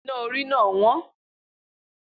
Iná orí náà wọ́n